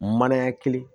Manaya kelen